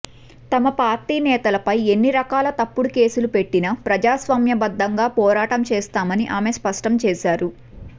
తమ పార్టీ నేతలపై ఎన్నిరకాల తప్పుడు కేసులు పెట్టినా ప్రజాస్వామ్యబద్ధంగా పోరాటం చేస్తామని ఆమె స్పష్టంచేశారు